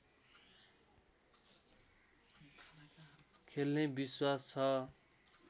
खेल्ने विश्वास छ